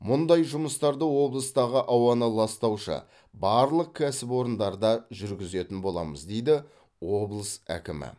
мұндай жұмыстарды облыстағы ауаны ластаушы барлық кәсіпорындарда жүргізетін боламыз дейді облыс әкімі